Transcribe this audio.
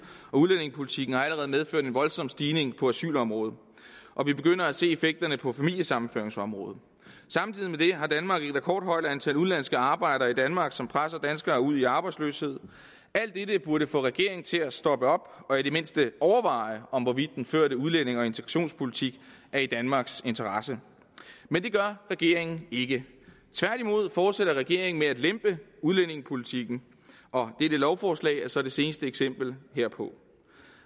og udlændingepolitikken har allerede medført en voldsom stigning på asylområdet og vi begynder at se effekterne på familiesammenføringsområdet samtidig med det har danmark et rekordhøjt antal udenlandske arbejdere i danmark som presser danskere ud i arbejdsløshed alt dette burde få regeringen til at stoppe op og i det mindste overveje hvorvidt den førte udlændinge og integrationspolitik er i danmarks interesse men det gør regeringen ikke tværtimod fortsætter regeringen med at lempe udlændingepolitikken dette lovforslag er så det seneste eksempel herpå